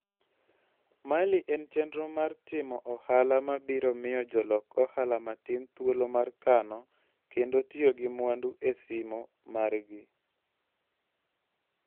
Mali en chenro mar timo ohala ma biro miyo jolok ohala matin thuolo mar kano kendo tiyo gi mwandu e simo margi.